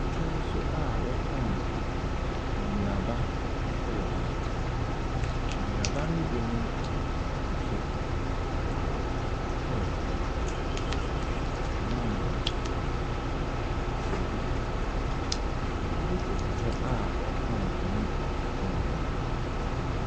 Edwaso a ɔtɔn nnuaba ɛwɔ hɔ. Nnuaba no bi ne ɛkutu, pear, mango, kwedu. Maame koto hɔ a ɔretɔn ne nneɛma.